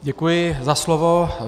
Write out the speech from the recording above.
Děkuji za slovo.